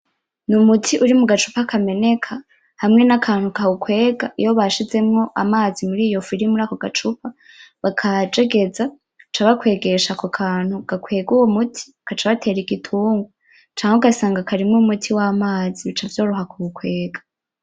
Ni umuti uri mugacupa kameneka hamwe nakantu kawukwega iyo bashizemwo amazi muri iyo fu iri muri ako gacupa bakajegeza baca bakwegesha ako kantu gakwega uwo muti gaca batera igitungwa canke ugasanga karimo umuti wamazi bica vyoroha kuwukwega.